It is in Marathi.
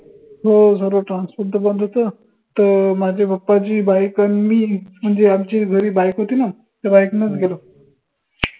हो सर्व transport त बंद होत त माझ्या papa ची bike आनि मी म्हनजे आमचे घरी bike होती ना त्या bike नच गेलो